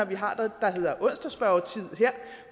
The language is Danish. vi har det der hedder onsdagsspørgetid